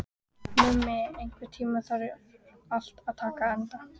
Mummi, einhvern tímann þarf allt að taka enda.